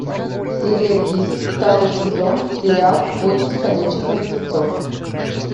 серия десять второй сезон сериал бойтесь ходячих мертвецов